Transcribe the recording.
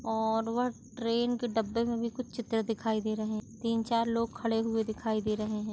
और वह ट्रैन के डब्बे में भी कुछ चित्र दिखाई दे रहे हैं तीन चार लोग खड़े हुए दिखाई दे रहे हैं।